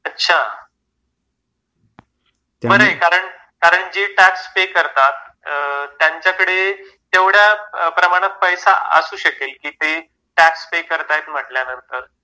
अच्छा. बर आहे कारण जे टॅक्स पे करतात त्यांच्याकडे तेवढ्या प्रमाणात पैसा असू शकेल की ते टॅक्स पे करतात म्हटल्यानंतर.